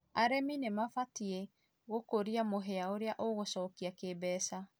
arĩmĩ nĩmabatĩĩ gũkũrĩa mũhĩa ũrĩa ũgũcokĩa kĩmbeca